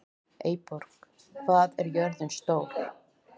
Eyborg, hvað er jörðin stór?